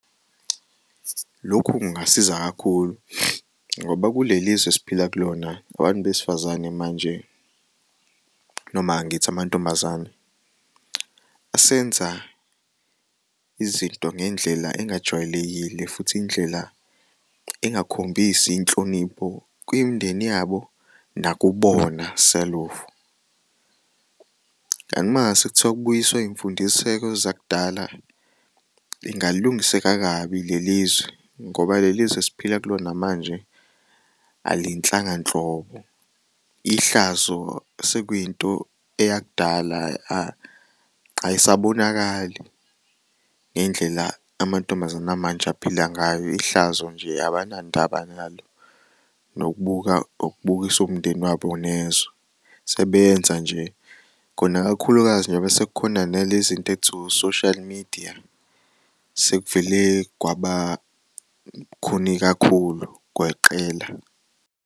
Lokhu kungasiza kakhulu ngoba kulelizwe esiphila kulona abantu besifazane manje noma ngithi amantombazane asenza izinto ngendlela engajwayelekile futhi indlela engakhombisi inhlonipho kumindeni yabo nakubona selofu. Kanti mangase kuthiwa kubuyiswa iy'mfundiseko zakudala lingalungiseka kabi lelizwe ngoba lelizwe esiphila kulona manje alinhlanga nhlobo ihlazo sekuyinto eyakudala ayisabonakali ngey'ndlela amantombazane amanje aphila ngayo ihlazo nje abanandaba nalo nokubukisa umndeni wabo nezwe sebeyenza nje kona kakhulukazi njengoba sekukhona nalezinto okuthiwa o-social media sekuvele kwabalukhuni kakhulu, kweqela.